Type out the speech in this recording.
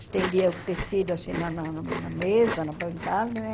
Estendia o tecido assim na na na mesa, na bancada, né?